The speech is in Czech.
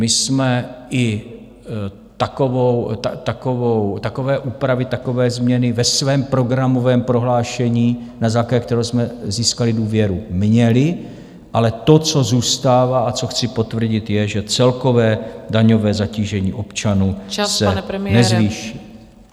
My jsme i takové úpravy, takové změny ve svém programovém prohlášení, na základě kterého jsme získali důvěru, měli, ale to, co zůstává a co chci potvrdit, je, že celkové daňové zatížení občanů se nezvýší.